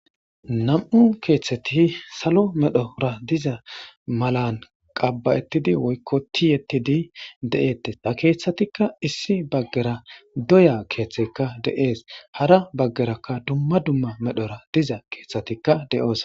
Nam7u keetheti salo medhora diza malarn qabba7ettidi woykko tiyettidi de'eettes.ha keethatikla issi baggara doyakeetheykka de'ees. hara baggakka doya keethey de'ees. Hara baggarakka diza keethatikla de'oosona.